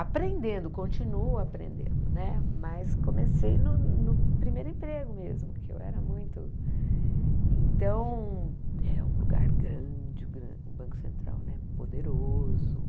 Aprendendo, continuo aprendendo né, mas comecei no primeiro emprego mesmo, que eu era muito... Então, é um lugar grande, o Banco Central, né poderoso.